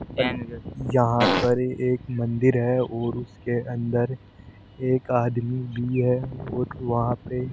यहां पर एक मंदिर है और उसके अंदर एक आदमी भी है और वहां पे --